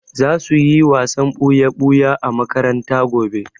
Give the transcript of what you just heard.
Za su yi wasan ɓuya-ɓuya a makaranta gobe.